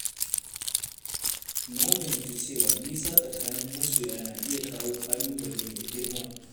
Na fahimci cewa nisa tsakanin masoya na iya kawo ƙalubale mai girma.